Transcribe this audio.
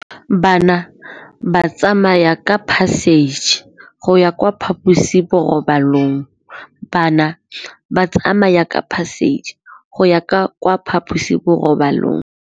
Bana ba tsamaya ka phašitshe go ya kwa phaposiborobalong.